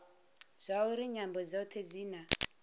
zwauri nyambo dzothe dzi na